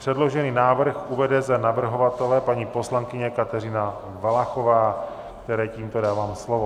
Předložený návrh uvede za navrhovatele paní poslankyně Kateřina Valachová, které tímto dávám slovo.